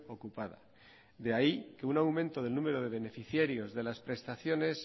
ocupada de ahí que un aumento del número de beneficiarios de las prestaciones